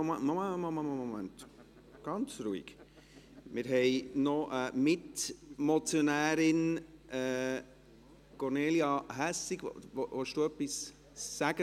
Wir haben noch eine Mitmotionärin: Kornelia Hässig, möchten Sie etwas dazu sagen?